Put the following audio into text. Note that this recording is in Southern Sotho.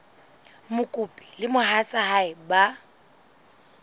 mokopi le mohatsa hae ba